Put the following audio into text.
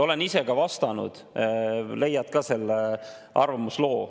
Olen ise ka vastanud, leiad ka selle arvamusloo.